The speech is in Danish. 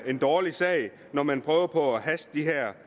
en dårlig sag når man prøver på at haste de her